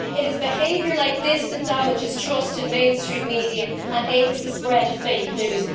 It is behaviour like this that damages trust in mainstream media and aids the spread of fake news.